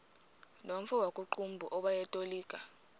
nomfo wakuqumbu owayetolika